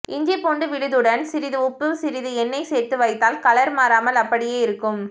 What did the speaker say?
இஞ்சி பூண்டு விழுது டன் சிறிது உப்பு சிறிது எண்ணெய் சேர்த்து வைத்தால் கலர் மாறாமல் அப்படியே இருக்கும்